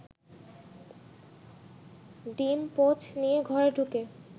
ডিম-পোচ নিয়ে ঘরে ঢুকে